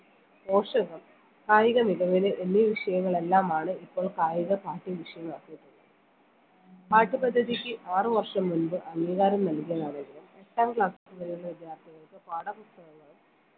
പോഷകം കായിക നിഗമനം എന്നീ വിഷയങ്ങൾ എല്ലാമാണ് ഇപ്പൊൾ കായിക പാഠ്യ വിഷയമാക്കിയിട്ടുള്ളത് പാഠ്യപദ്ധതിക്ക് ആറ് വർഷം മുമ്പ് അംഗീകാരം നൽകിയതാണെങ്കിലും എട്ടാം class വരെയുള്ള വിദ്യാർത്ഥികൾക്ക് പാഠപുസ്തകംങ്ങളും